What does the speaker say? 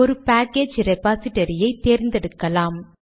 ஒரு பாக்கேஜ் ரெபாசிடரியை தேர்ந்தெடுக்கலாம்